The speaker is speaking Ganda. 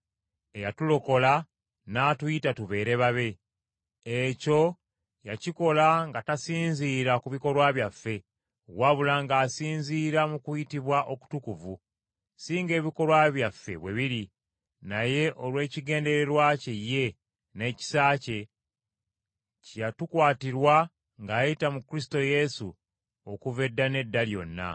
eyatulokola n’atuyita tubeere babe. Ekyo yakikola nga tasinziira ku bikolwa byaffe, wabula ng’asinziira mu kuyitibwa okutukuvu, si ng’ebikolwa byaffe bwe biri, naye olw’ekigendererwa kye ye, n’ekisa kye, kye yatukwatirwa ng’ayita mu Kristo Yesu okuva edda n’edda Lyonna.